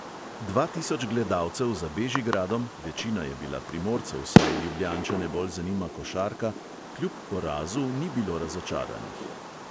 Dva tisoč gledalcev za bežigradom, večina je bila primorcev, saj ljubljančane bolj zanima košarka, kljub porazu ni bilo razočaranih.